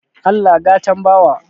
Allah gatan bawa